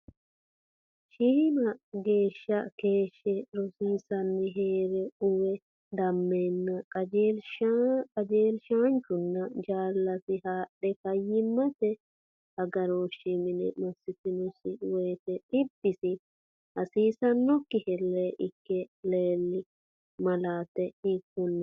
Shiima geeshshe keeshshe rosiisi’ranni hee’re uwe dammeenna qajeelshaanchunna jaallasi haadhe fayyimmate aga rooshshi mine massitannosi wote dhibbisi hasiissannokki hellee ikke leelli, malaati hiikkonneeti?